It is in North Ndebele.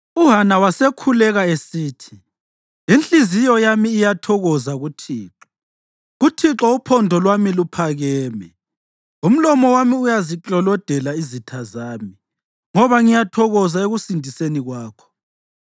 UHana wasekhuleka esithi: “Inhliziyo yami iyathokoza kuThixo; kuThixo uphondo lwami luphakeme. Umlomo wami uyaziklolodela izitha zami, ngoba ngiyathokoza ekusindiseni kwakho.